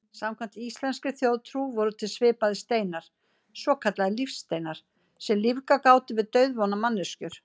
Samkvæmt íslenskri þjóðtrú voru til svipaðir steinar, svokallaðir lífsteinar, sem lífgað gátu við dauðvona manneskjur.